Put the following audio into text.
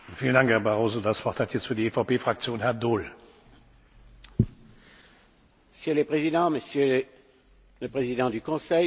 Monsieur le Président, Monsieur le Président du Conseil, chers collègues, le Conseil européen de mars se tient dans un contexte international tendu.